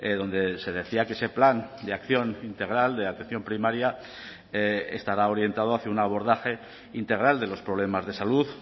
donde se decía que ese plan de acción integral de atención primaria estará orientado hacia un abordaje integral de los problemas de salud